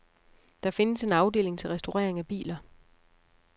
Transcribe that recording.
Der findes en afdeling til restaurering af biler.